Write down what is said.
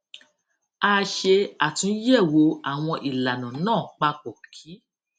a ṣe àtúnyèwò àwọn ìlànà náà papọ kí